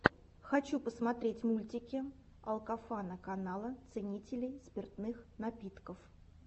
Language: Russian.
хочу посмотреть мультики алкофана канала ценителей спиртных напитков